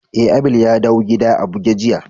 Eh, Abel ya dawn gida a buje jiya.